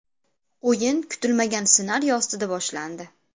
O‘yin kutilmagan ssenariy ostida boshlandi.